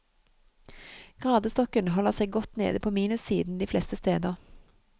Gradestokken holder seg godt nede på minussiden de fleste steder.